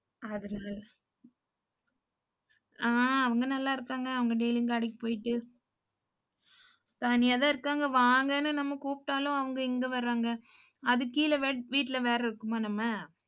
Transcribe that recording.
அதனால அஹ் அவங்க நல்லா இருக்காங்க. அவங்க daily கடைக்கு போயிட்டு தனியாதான் இருக்காங்க, வாங்கன்னு நம்ம கூப்பிட்டாலும் அவங்க எங்க வர்றாங்க. அதுக்கு கீழேவே வீட்ல வேற இருக்குமா நம்ம?